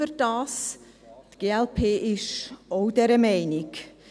Die glp ist auch dieser Meinung.